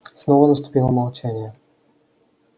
снова наступило молчание